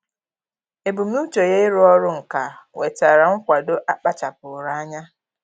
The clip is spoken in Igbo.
Ebumnuche ya ịrụ ọrụ nka nwetara nkwado a kpachapụụrụ anya.